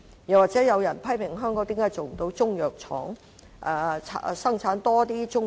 此外，又有人批評香港為何不能設立中藥廠，生產更多的中藥。